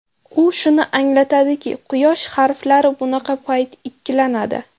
U shuni anglatadiki, quyosh harflari bunaqa payt ikkilanadi.